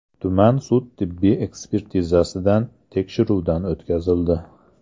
tuman sud tibbiy ekspertizasidan tekshiruvdan o‘tkazildi.